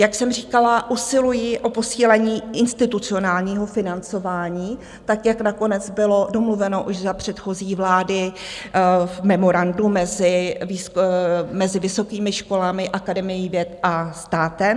Jak jsem říkala, usiluji o posílení institucionálního financování tak, jak nakonec bylo domluveno už za předchozí vlády v memorandu mezi vysokými školami, Akademií věd a státem.